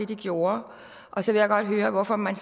de gjorde så vil jeg godt høre hvorfor man